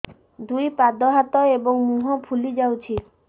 ଦୁଇ ପାଦ ହାତ ଏବଂ ମୁହଁ ଫୁଲି ଯାଉଛି